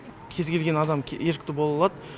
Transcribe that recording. кез келген адам ерікті бола алады